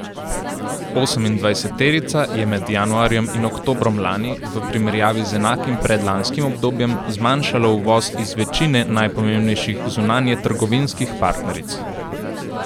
Osemindvajseterica je med januarjem in oktobrom lani v primerjavi z enakim predlanskim obdobjem zmanjšala uvoz iz večine najpomembnejših zunanjetrgovinskih partneric.